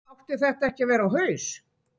Átti þetta ekki að vera á haus?